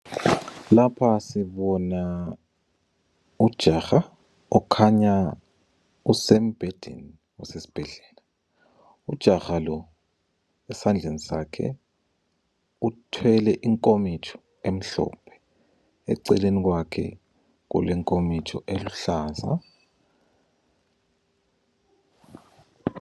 Lapha sibona ujaha okhanya usembhedeni esesibhedlela. Ujaha lo esandleni sakhe uthwele inkomitsho emhlophe eceleni kwakhe kulenkomitsho eluhlaza.